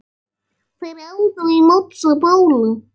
Þeir áðu á móts við Bólu.